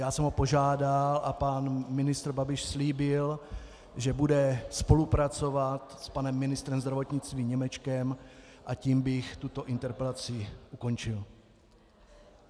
Já jsem ho požádal a pan ministr Babiš slíbil, že bude spolupracovat s panem ministrem zdravotnictví Němečkem, a tím bych tuto interpelaci ukončil.